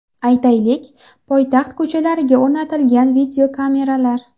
Aytaylik, poytaxt ko‘chalariga o‘rnatilgan videokameralar.